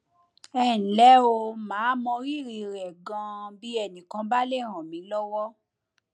ẹnlẹ o màá mọ rírì rẹ ganan bí ẹnì kan bá lè ràn mí lọwọ